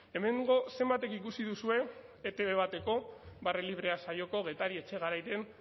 hemengo zenbatek ikusi duzue etb bateko barre librea saioko getari etxegarairen